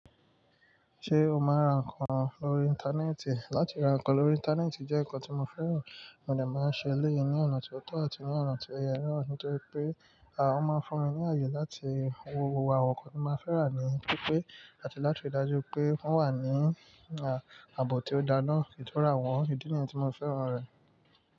Ṣé o máa ń ra nǹkan lórí Íńtánẹ́ẹ̀tì? Látì ra nǹkan lórí Íńtánẹ́ẹ̀tì jẹ́ nǹkan tí mo fẹ́ràn, mo dẹ̀ máa ń ṣe éléyi ní ọ̀nà tó tọ́ àti ní ọ̀nà tó yẹ naa, nítorí pé à o máa ń fún mi ní ààyè láti wo wo àwọn nǹkan tí máa fẹ́ rà níì, pípé àti láti rí i dájú pé wọn wà ní ààbò tó dá náa, kí n tó ra wọn. Ídí nìyẹn tí mo fẹ́ràn rẹ̀.